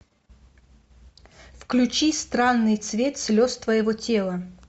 включи странный цвет слез твоего тела